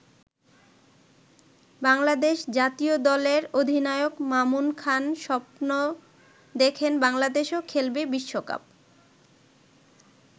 বাংলাদেশ জাতীয় দলের অধিনায়ক মামুন খান স্বপ্ন দেখেন বাংলাদেশও খেলবে বিশ্বকাপ।